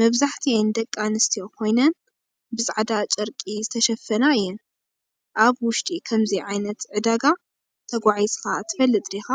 መብዛሕትአን ደቂ ኣንስትዮ ኮይነን፡ ብጻዕዳ ጨርቂ ዝተሸፈና እየን። ኣብ ውሽጢ ከምዚ ዓይነት ዕዳጋ ተጓዒዝካ ትፈልጥ ዲኻ?